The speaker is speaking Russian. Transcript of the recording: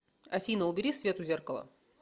афина убери свет у зеркала